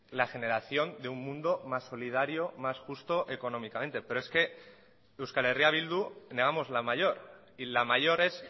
la generación de un mundo más solidario más justo económicamente pero es que euskal herria bildu negamos la mayor y la mayor es